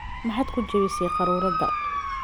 Maxaad ku jebisay quraarada?